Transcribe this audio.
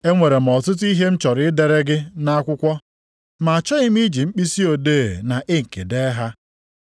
Enwere m ọtụtụ ihe m chọrọ idere gị nʼakwụkwọ, ma achọghị m iji mkpisi odee na inki dee ha.